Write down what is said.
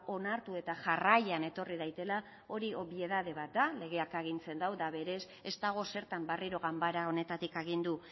onartu eta jarraian etorri daitela hori obietate bat da legeak agintzen du eta berez ez dago zertan berriro ganbara honetatik agindu